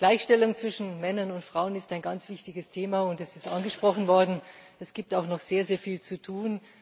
Gleichstellung zwischen Männern und Frauen ist ein ganz wichtiges Thema. Und es ist angesprochen worden Es gibt auch noch sehr viel zu tun.